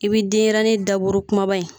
I bi denyɛrɛni daburu kumaba in